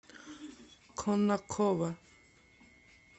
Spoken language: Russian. конаково